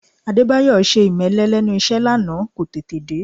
Adébáyọ̀ ṣe ìmẹ́lẹ́ lẹ́nu iṣẹ́ lánàá, kò tètè dé